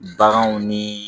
Baganw ni